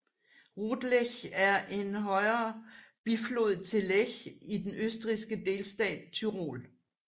Rotlech er en højre biflod til Lech i den østrigske delstat Tyrol